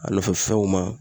A nɔfɛ fɛnw ma.